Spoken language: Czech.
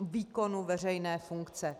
výkonu veřejné funkce.